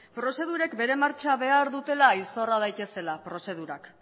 prozedurek bere martxa behar dutela izorra daitezela prozedurak